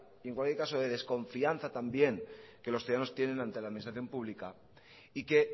en cualquier caso de desconfianza también que los ciudadanos tienen ante la administración pública y que